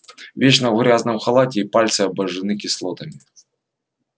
вечно в грязном халате и пальцы обожжены кислотами